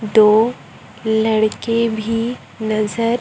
दो लड़के भी नजर--